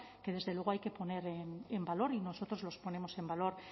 que desde luego hay que poner en valor y nosotros los ponemos en valor